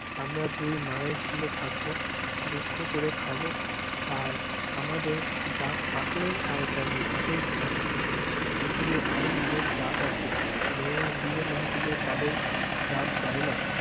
আমরা দুই মায়ে ঝি'য়ে থাকব, দুঃখ করে খাব, আর আমাদের যা থাকলই আর গেলই তাতেই বা কি? পৃথিবীর আরো অনেক জাত আছে, মেয়েরা বিয়ে না দিলে তাদের জাত যায়না।